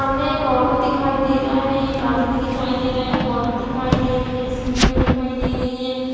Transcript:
सामने एक ऑटो दिखाई दे रहा है एक आदमी दिखाई दे रहा है एक औरत दिखाई दे रही है सीढ़ीयाँ दिखाई दे रही है।